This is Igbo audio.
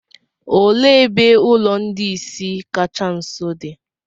òle ebe ulo ndi-ìsì kacha nso di?